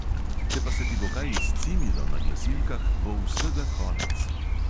Če pa se ti bo kaj izcimilo na glasilkah, bo vsega konec.